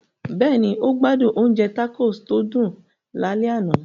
Bẹ́ẹ̀ni, o gbádùn oúnjẹ tacos tó dùn lálẹ́ àná.